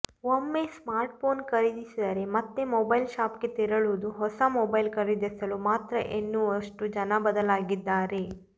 ಒಮ್ಮೆ ಸ್ಮಾರ್ಟ್ಫೋನ್ ಖರೀದಿಸಿದರೆ ಮತ್ತೆ ಮೊಬೈಲ್ ಶಾಪ್ಗೆ ತೆರಳುವುದು ಹೊಸ ಮೊಬೈಲ್ ಖರೀದಿಸಲು ಮಾತ್ರ ಎನ್ನುವಷ್ಟು ಜನ ಬದಲಾಗಿದ್ದಾರೆ